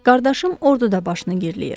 Qardaşım orduda başını girləyir.